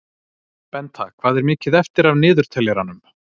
Benta, hvað er mikið eftir af niðurteljaranum?